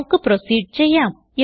നമുക്ക് പ്രോസീഡ് ചെയ്യാം